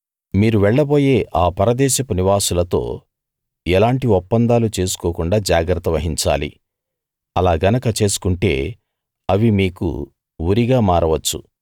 మీరు వెళ్లబోయే ఆ పరదేశపు నివాసులతో ఎలాంటి ఒప్పందాలు చేసుకోకుండా జాగ్రత్త వహించాలి అలా గనక చేసుకుంటే అవి మీకు ఉరిగా మారవచ్చు